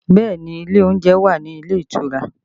Bẹẹ ni, ilé oúnjẹ wà nílé ìtura